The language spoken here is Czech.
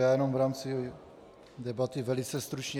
Já jenom v rámci debaty velice stručně.